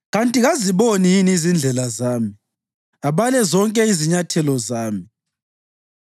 Kanti kaziboni yini izindlela zami abale zonke izinyathelo zami?